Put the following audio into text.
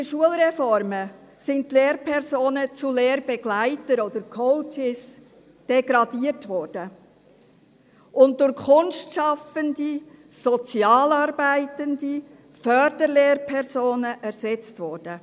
Durch die Schulreformen sind die Lehrpersonen zu Lehrbegleitern oder Coaches degradiert und durch Kunstschaffende, Sozialarbeitende, Förderlehrpersonen ersetzt worden.